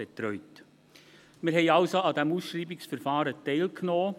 Wir haben also an diesem Ausschreibungsverfahren teilgenommen.